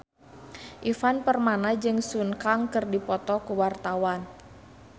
Ivan Permana jeung Sun Kang keur dipoto ku wartawan